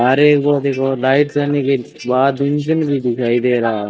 अरे वो देखो लाइट दिखाई दे रहा--